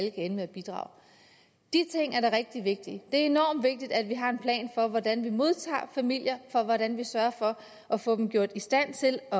ende med et bidrag de ting er da rigtig vigtige det er enormt vigtigt at vi har en plan for hvordan vi modtager familier og hvordan vi sørger for at få dem gjort i stand til at